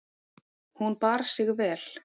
Hún bar sig vel.